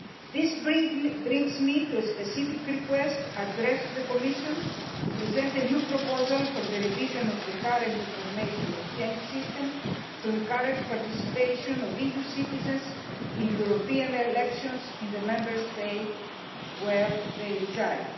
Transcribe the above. This brings me to a specific request addressed to the Commission to present a new proposal for the revision of the current information exchange system to encourage participation of EU citizens in European elections in the Member State where they reside.